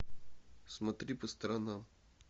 смотри по сторонам